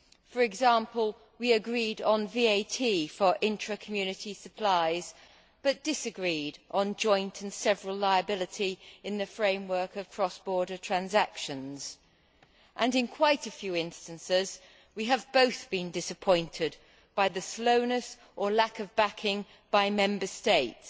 For example, we agreed on VAT for intra Community supplies but disagreed on joint and several liability in the framework of cross border transactions, and in quite a few instances, we have both been disappointed by the slowness or lack of backing by Member States.